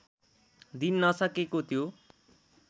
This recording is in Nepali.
दिन नसकेको त्यो